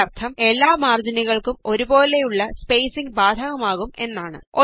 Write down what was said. അതിന്റെ അര്ത്ഥം എല്ലാ മാര്ജിനുകള്ക്കും ഒരുപോലുള്ള സ്പേസിംഗ് ബാധകമാകും എന്നാണ്